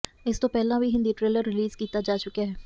ਇਸ ਤੋਂ ਪਹਿਲਾਂ ਵੀ ਹਿੰਦੀ ਟ੍ਰੇਲਰ ਰਿਲੀਜ਼ ਕੀਤਾ ਜਾ ਚੁੱਕਿਆ ਹੈ